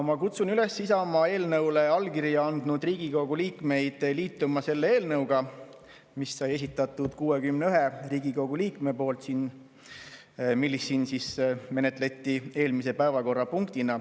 Ma kutsun Isamaa eelnõule allkirja andnud Riigikogu liikmeid üles liituma selle eelnõuga, mille on esitanud 61 Riigikogu liiget ja mida siin menetleti eelmise päevakorrapunktina.